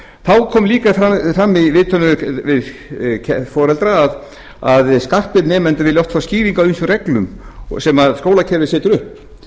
þá kom líka fram í viðtölum við foreldra að skarpir nemendur vilja oft fá skýringu á ýmsum rllgum sem skólakerfið setur upp